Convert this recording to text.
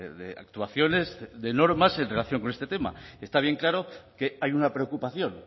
de actuaciones de normas en relación con este tema está bien claro que hay una preocupación